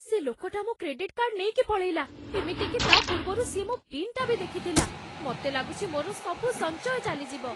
ସେ ଲୋକଟା ମୋ କ୍ରେଡିଟ୍ କାର୍ଡ଼୍ ନେଇକି ପଳେଇଲା । ଏମିତିକି ତା'ପୂର୍ବରୁ ସିଏ ମୋ ପିନ୍‌ଟା ବି ଦେଖିଥିଲା । ମତେ ଲାଗୁଛି, ମୋର ସବୁ ସଞ୍ଚୟ ଚାଲିଯିବ ।